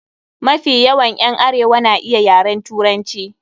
Mafi yawan ƴan arewa na iya yaren Turanci.